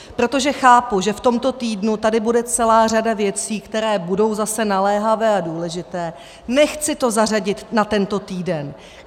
Protože chápu, že v tomto týdnu tady bude celá řada věcí, které budou zase naléhavé a důležité, nechci to zařadit na tento týden.